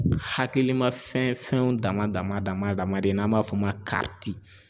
Hakilima fɛn fɛnɛ dama dama dama dama de n'an b'a f'o ma .